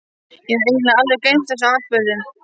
Ég hafði eiginlega alveg gleymt þessum atburðum.